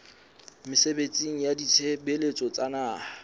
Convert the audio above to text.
mesebetsing ya ditshebeletso tsa naha